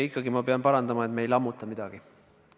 Ikkagi ma pean parandama, et me ei lammuta midagi.